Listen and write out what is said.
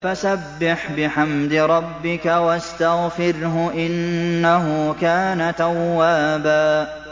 فَسَبِّحْ بِحَمْدِ رَبِّكَ وَاسْتَغْفِرْهُ ۚ إِنَّهُ كَانَ تَوَّابًا